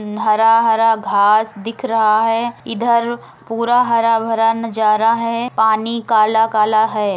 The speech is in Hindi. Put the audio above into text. हरा-हरा घास दिख रहा है इधर पुरा हरा-भरा नज़ारा है पानी काला-काला है।